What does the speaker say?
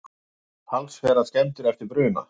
Talsverðar skemmdir eftir bruna